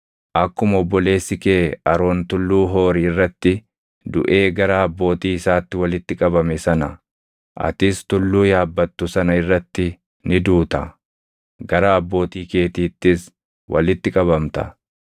Akkuma obboleessi kee Aroon tulluu Hoori irratti duʼee gara abbootii isaatti walitti qabame sana, atis tulluu yaabbattu sana irratti ni duuta; gara abbootii keetiittis walitti qabamta.